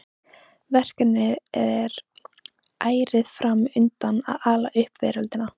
Verkefnið er ærið fram undan að ala upp veröldina.